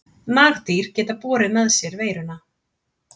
Nagdýr geta borið með sér veiruna.